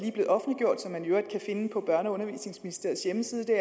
finde på børne og undervisningsministeriets hjemmeside